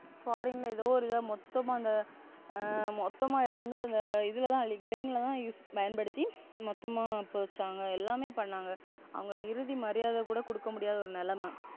Foreign எதோ ஒரு தான் மொத்தமாக மொத்தமா இருந்து இதுல தான் Crane ல தான் பயன்படுத்தி மொத்தமா போதச்சாங்க எல்லாமே பண்ணாங்க. அவங்களுக்கு இறுதி மரியாதை கூட கொடுக்க முடியாத ஒரு நெலம.